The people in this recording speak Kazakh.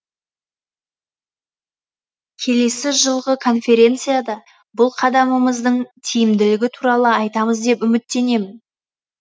келесі жылғы конференцияда бұл қадамымыздың тиімділігі туралы айтамыз деп үміттенемін